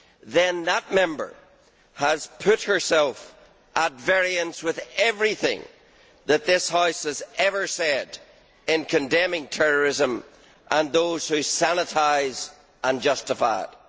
then that Member has put herself at variance with everything that this House has ever said in condemning terrorism and those who sanitise and justify it.